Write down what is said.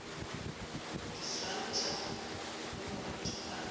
di swantšhwa le moretwa ka